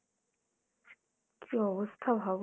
কী অবস্থা ভাবো!